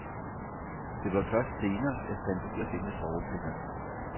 Det var først senere, jeg fandt ud af det med sovepillerne.